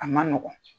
A man nɔgɔn